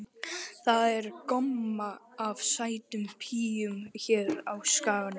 Það er gomma af sætum píum hér á Skaganum.